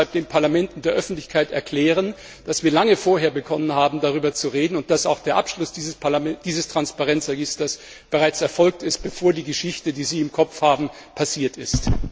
Würden Sie deshalb den Parlamenten und der Öffentlichkeit erklären, dass wir lange vorher begonnen haben, darüber zu reden, und dass auch der Abschluss dieses Transparenzregisters bereits erfolgt ist, bevor die Geschichte, die Sie im Kopf haben, passiert ist?